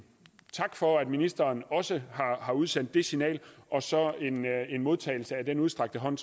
tak for at ministeren også har udsendt det signal og så en modtagelse af den udstrakte hånd